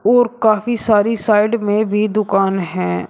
और काफी सारी साइड में भी दुकान हैं।